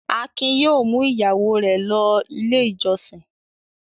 Akin yóò mú ìyàwó rẹ̀ lọ Ilé-ìjọsìn!